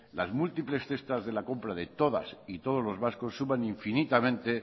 las múltiples cestas de la compra de todas y todos los vascos suman infinitamente